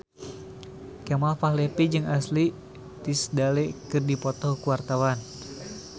Kemal Palevi jeung Ashley Tisdale keur dipoto ku wartawan